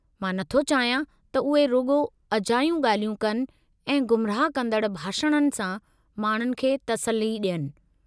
मां नथो चाहियां त उहे रुॻो अजायूं ॻाल्हियूं कनि ऐं गुमराह कंदड़ भाषणनि सां माण्हुनि खे तसल्ली डि॒यनि।